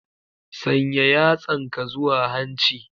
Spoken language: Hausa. Sanya yatsanka zuwa hanci.